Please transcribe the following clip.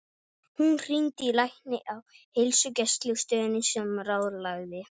Hún hringdi í lækni á heilsugæslustöðinni sem ráðlagði